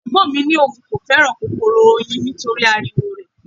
Ẹ̀gbọ́n mi ní òun kò fẹ́ràn kòkòrò oyin nítorí ariwo rẹ̀.